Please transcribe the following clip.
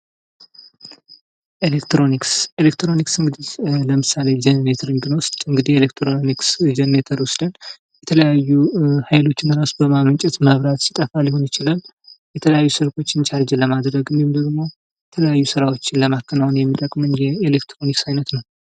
ኤሌክትሮኒክስ:-ኤሌክትሮኒክስ እንግዲህ ለምሳሌ ጀረኔተርን ብንወስድ እንግዲህ ኤሌክትሮኒክስ ጀረኔተር ወስደን የተለያዩ ሀይሎችን እራሱ በማመንጨት መብራት ሲጠፉ ሊሆን ይችላል የተለያዩ ስልኮችን ቻርጅ ለማድረግ እንዲሁም ደግሞ የተለያዩ ስራዎችን ለማከናወን የሚጠቅመን ኤሌክትሮኒክስ አይነት ነው።